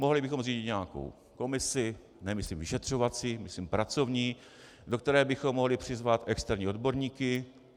Mohli bychom zřídit nějakou komisi, nemyslím vyšetřovací, myslím pracovní, do které bychom mohli přizvat externí odborníky.